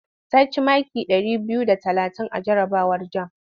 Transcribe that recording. Ta ci maki ɗari biyu da talatin a jarabawar jam.